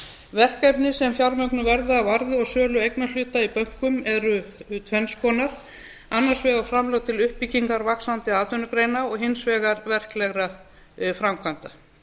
verkefni sem fjármögnuð verða af arði og sölu eignarhluta í bönkum eru tvenns konar annars vegar framlög til uppbyggingar vaxandi atvinnugreina og hins vegar verklegra framkvæmda